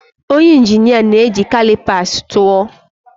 Onye injinia na-eji calipers tụọ.